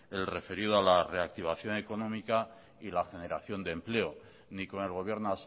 el referido a la reactivación económica y la generación de empleo ni con el gobierno